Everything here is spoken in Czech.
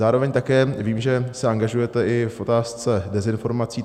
Zároveň také vím, že se angažujete i v otázce dezinformací.